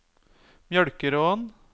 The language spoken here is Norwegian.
Mjølkeråen